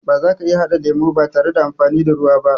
Bazaka iya haɗa lemo ba tare da amfani da ruwa ba